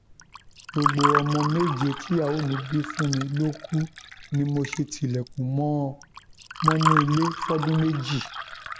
gbogbo ọmọ méje tíyàwó mi bí fún mi ló kù ni mo ṣe tilẹkùn mọ ọn mọnú ilé fọdún méjì